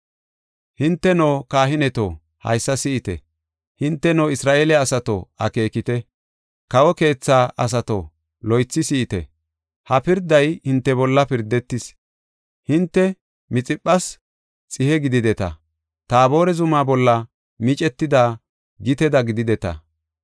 “Hinteno kahineto, haysa si7ite! Hinteno Isra7eele asato, akeekite! Kawo keetha asato, loythi si7ite! Ha pirday hinte bolla pirdetis. Hinte Mixiphas xihe gidideta; Taabore zuma bolla miccetida giteda gidideta.